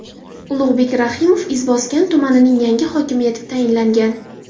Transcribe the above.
Ulug‘bek Rahimov Izboskan tumanining yangi hokimi etib tayinlangan.